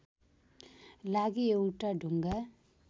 लागि एउटा ढुङ्गा